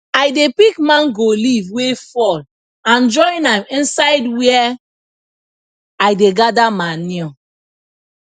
i dey pick mango leaf wey fall and join am inside where i dey gather manure